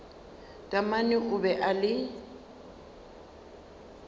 taamane o be a le